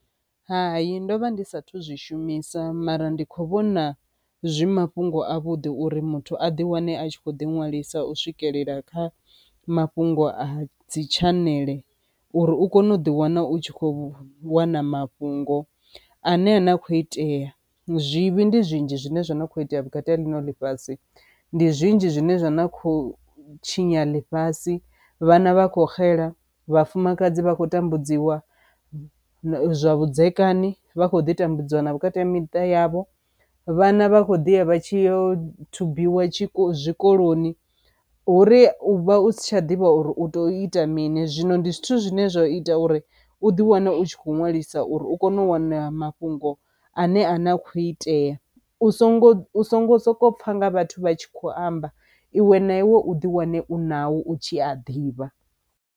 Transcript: Hai ndovha ndi sathu zwishumisa mara ndi kho vhona zwi mafhungo a vhudi uri muthu a ḓi wane a tshi kho ḓi ṅwalisa u swikelela kha mafhungo a dzi tshanele uri u kone u ḓi wana u tshi kho wana mafhungo a ne a na khou itea. Zwivhi ndi zwinzhi zwine zwa kho itea vhukati ha ḽino ḽifhasi, ndi zwinzhi zwine zwa na khou tshinya ḽifhasi, vhana vha kho xela, vhafumakadzi vha khou tambudziwa, zwa vhudzekani vha kho ḓi tambudziwa na vhukati ha miṱa yavho, vhana vha khou ḓi ya vha tshi yo thubiwa tshiko zwikoloni, huri u vha u si tsha ḓivha uri u to ita mini. Zwino ndi zwithu zwine zwa ita uri u u ḓi wana u tshi kho ṅwalisa uri u kone u wana mafhungo ane a ne a khou itea, u songo u songo soko pfha nga vhathu vha tshi kho amba iwe na iwe u ḓi wane u nao u tshi a ḓivha.